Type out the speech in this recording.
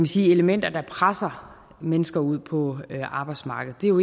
sige elementer der presser mennesker ud på arbejdsmarkedet det er jo